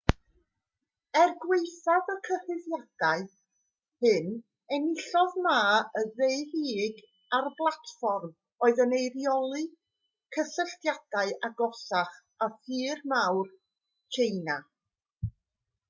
er gwaethaf y cyhuddiadau hyn enillodd ma yn ddeheuig ar blatfform oedd yn eirioli cysylltiadau agosach â thir mawr tsieina